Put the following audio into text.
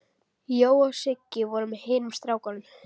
Jói og Siggi voru með hinum strákunum.